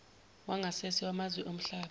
wangasese wamazwe omhlaba